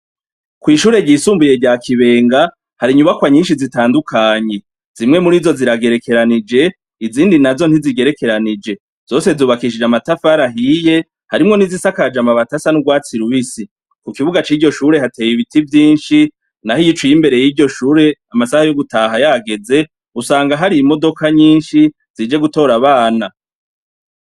Kw'ishure ryisumbuye rya Kibenga hari inyubakwa nyinshi zitandukanye, zimwe murizo ziragerekeranije izindi nazo ntizigerekeranije, zose zubakishije amatafari ahiye, harimwo nizisakaje amabati asa n'urwatsi rubisi, ku kibuga ciryo shure hateye ibiti vyinshi, naho iyo uciye imbere yrieyo shure amasaha yo gutaha yageze usanga hari imodoka nyinshi zije gutora abana.